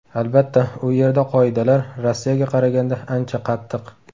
Albatta, u yerda qoidalar Rossiyaga qaraganda ancha qattiq.